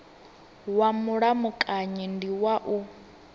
wa mulamukanyi ndi wa u